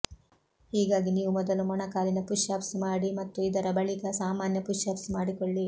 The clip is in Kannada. ಹೀಗಾಗಿ ನೀವು ಮೊದಲು ಮೊಣಕಾಲಿನ ಪುಶ್ ಅಪ್ಸ್ ಮಾಡಿ ಮತ್ತು ಇದರ ಬಳಿಕ ಸಾಮಾನ್ಯ ಪುಶ್ ಅಪ್ಸ್ ಮಾಡಿಕೊಳ್ಳಿ